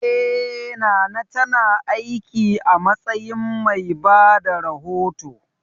Eh, Nana ta na aiki a matsayin mai bada rahoto